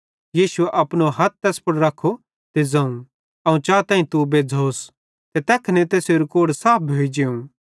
यीशुए अपनो हथ तैस पुड़ रखो ते ज़ोवं अवं चाताईं तू बज़्झ़ोस ते तैखने तैसेरू कोढ़ साफ भोइ जेवं